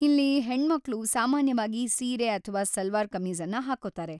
ಇಲ್ಲಿ, ಹೆಣ್ಮಕ್ಳು ಸಾಮಾನ್ಯವಾಗಿ ಸೀರೆ ಅಥ್ವಾ ಸಲ್ವಾರ್‌ ಕಮೀಜ಼ನ್ನ ಹಾಕ್ಕೊತಾರೆ.